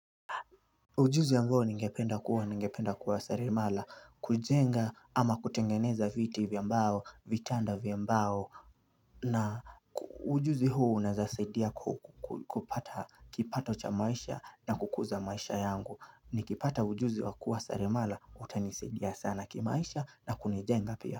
Ujuzi ambao ningependa kuwa ningependa kuwa selemala kujenga ama kutengeneza viti vya mbao vitanda vya mbao na Ujuzi huo unaweza saidia kupata kipato cha maisha na kukuza maisha yangu ni kipata ujuzi wa kuwa seremala utanisaidia sana kimaisha na kunijenga pia.